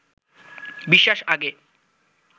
বিশ্বাস আগে